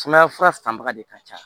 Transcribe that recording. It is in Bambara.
Sumaya fura fanba de ka ca